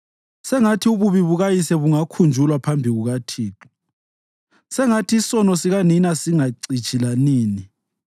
Sengathi ububi bukayise bungakhunjulwa phambi kukaThixo, sengathi isono sikanina singacitshi lanini.